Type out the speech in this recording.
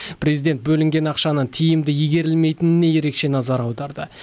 президент бөлінген ақшаның тиімді игерілмейтініне ерекше назар аударды